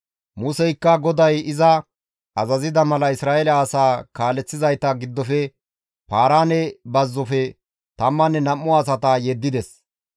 Museykka GODAY iza azazida mala Isra7eele asaa kaaleththizayta giddofe Paaraane bazzofe tammanne nam7u asata yeddides.